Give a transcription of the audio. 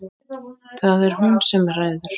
Það er hún sem ræður.